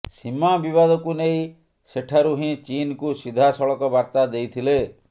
ସୀମା ବିବାଦକୁ ନେଇ ସେଠାରୁ ହିଁ ଚୀନକୁ ସିଧାସଳଖ ବାର୍ତ୍ତା ଦେଇଥିଲେ